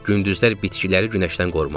Gündüzlər bitkiləri günəşdən qorumaq.